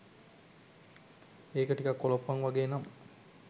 ඒක ටිකක් කොලොප්පන් වගේ නම්